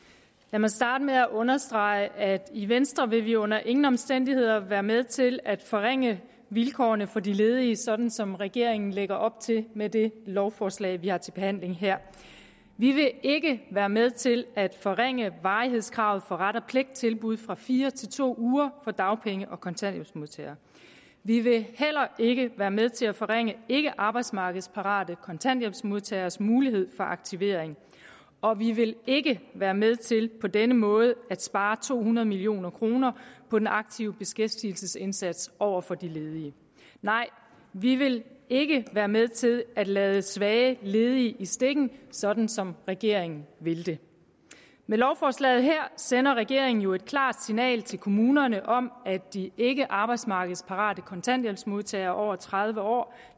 mig starte med at understrege at i venstre vil vi under ingen omstændigheder være med til at forringe vilkårene for de ledige sådan som regeringen lægger op til med det lovforslag vi har til behandling her vi vil ikke være med til at forringe varighedskravet for ret og pligt tilbud fra fire til to uger for dagpenge og kontanthjælpsmodtagere vi vil heller ikke være med til at forringe ikkearbejdsmarkedsparate kontanthjælpsmodtageres mulighed for aktivering og vi vil ikke være med til på denne måde at spare to hundrede million kroner på den aktive beskæftigelsesindsats over for de ledige nej vi vil ikke være med til at lade svage ledige i stikken sådan som regeringen vil det med lovforslaget her sender regeringen jo et klart signal til kommunerne om at de ikkearbejdsmarkedsparate kontanthjælpsmodtagere over tredive år